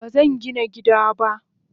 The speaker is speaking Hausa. Bazangina gida ba.